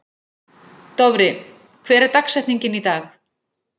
Dofri, hver er dagsetningin í dag?